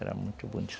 Era muito